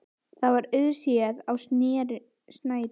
Það var auðséð á snærinu sem lá í hlaðvarpanum eins og slitin líflína.